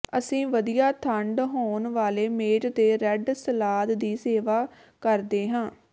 ਅਸੀਂ ਵਧੀਆ ਠੰਢਾ ਹੋਣ ਵਾਲੇ ਮੇਜ਼ ਦੇ ਰੈੱਡ ਸਲਾਦ ਦੀ ਸੇਵਾ ਕਰਦੇ ਹਾਂ